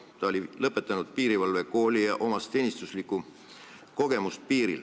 Ta on lõpetanud piirivalvekooli ja tal on piirilt saadud teenistuskogemus.